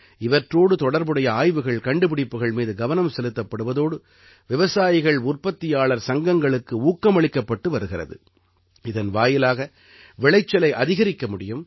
இவற்றோடு தொடர்புடைய ஆய்வுகள் கண்டுபிடிப்புகள் மீது கவனம் செலுத்தப்படுவதோடு விவசாயிகள்உற்பத்தியாளர் சங்கங்களுக்கு ஊக்கமளிக்கப்பட்டு வருகிறது இதன் வாயிலாக விளைச்சலை அதிகரிக்க முடியும்